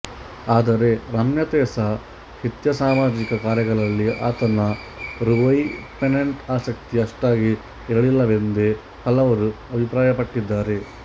ಆದರೆ ರಮ್ಯತೆಸಾಹಿತ್ಯಸಾಮಾಜಿಕ ಕಾರ್ಯಗಳಲ್ಲಿ ಆತನ ರೊಇ ಫೆನೆಂಟ್ ಆಸಕ್ತಿ ಅಷ್ಟಾಗಿ ಇರಲಿಲ್ಲವೆಂದೇ ಹಲವರು ಅಭಿಪ್ರಾಯಪಟ್ಟಿದ್ದಾರೆ